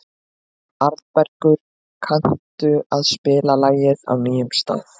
Arnbergur, kanntu að spila lagið „Á nýjum stað“?